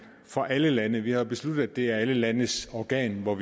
for alle lande vi har besluttet at det er alle landes organ og